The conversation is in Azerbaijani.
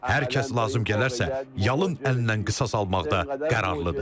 Hər kəs lazım gələrsə, yalın əllə qisas almaqda qərarlıdır.